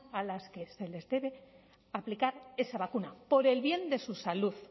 a las que se les debe aplicar esa vacuna por el bien de su salud